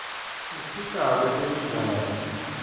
usita kwetemidlalo